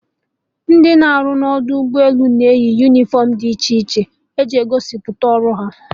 Ndị na-arụ na ọdọ ụgbọ elu na-eyi unifọmụ dị iche iche iji gosipụta ọrụ ha